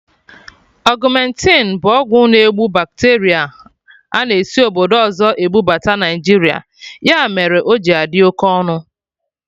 Augmentin bụ ọgwụ na-egbu bacteria a na esi obodo ọzọ ebubata Naijiria, ya mere o ji adị oké ọnụ